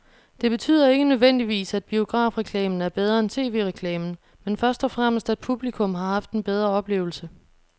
Det betyder ikke nødvendigvis, at biografreklamen er bedre end tv-reklamen, men først og fremmest at publikum har haft en bedre oplevelse.